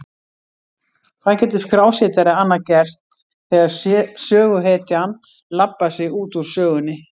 Hvað getur skrásetjari annað gert þegar söguhetjan labbar sig út úr sögunni?